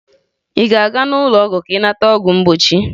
Ị ga-aga n'ụlọọgwụ ka ị nata ọgwụ mgbochi?